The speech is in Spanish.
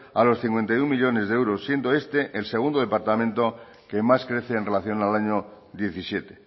a los cincuenta y uno millónes de euros siendo este el segundo departamento que más crece en relación al año diecisiete